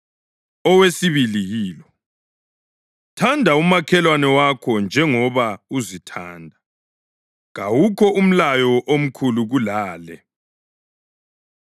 Owesibili yilo: ‘Thanda umakhelwane wakho njengoba uzithanda.’ + 12.31 ULevi 19.18 Kawukho umlayo omkhulu kulale.”